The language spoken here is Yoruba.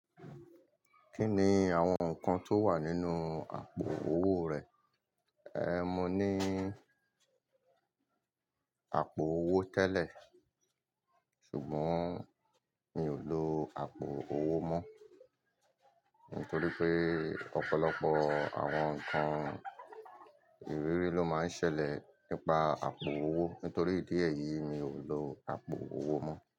Kí ni àwọn nǹkan tó wà nínú àpò owó rẹ? Ehn, mo ní àpò owó tẹ́lẹ̀, ṣùgbọ́n mi ò lo àpò owó mọ́, nítorí pé ọ̀pọ̀lọpọ̀ àwọn nǹkan ìrírí ló máa ń ṣẹlẹ̀ nípa àpò owó. Nítorí ìdí èyí, mi ò lo àpò owó mọ́